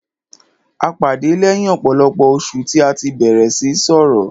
A pàdé lẹ́yìn ọ̀pọ̀lọpọ̀ oṣù tí a tí bẹ̀rẹ̀ síí sọrọ̀.